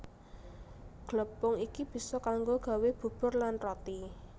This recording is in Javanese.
Glepung iki bisa kanggo gawé bubur lan roti